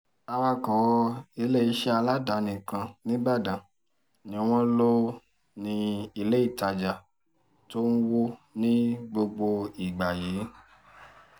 awakọ̀ iléeṣẹ́ aládàáni kan nìbàdàn ni wọ́n lò ní ilé ìtajà tó ń wọ́ ní gbogbo ìgbà yìí